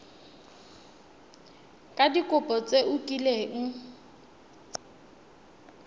ka dikopo tse o kileng